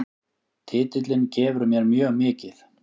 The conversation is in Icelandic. Titillinn gefur mér mjög mikið